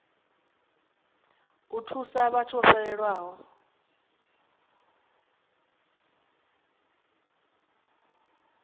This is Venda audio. u thusa vhathu vho fhelelwaho